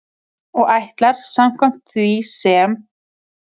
Og ætlar, samkvæmt því sem